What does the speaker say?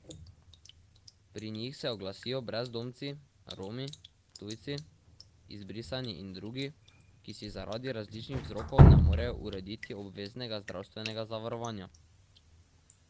Pri njih se oglasijo brezdomci, Romi, tujci, izbrisani in drugi, ki si zaradi različnih vzrokov ne morejo urediti obveznega zdravstvenega zavarovanja.